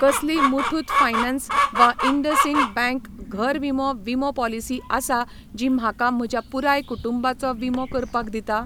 कसली मुठूत फायनान्स वा इंडसइंड बँक घर विमो विमो पॉलिसी आसा जी म्हाका म्हज्या पुराय कुटुंबाचो विमो करपाक दिता?